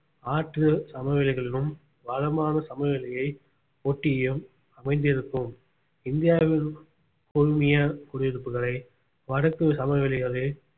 ஆற்று சமவெளிகளிலும் வளமான சமவெளியை ஒட்டியும் அமைந்திருக்கும் இந்தியாவில் குழுமிய குடியிருப்புகளை வடக்கு சமவெளிகளில்